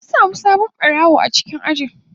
Mun samu sabon barawo a cikin ajin.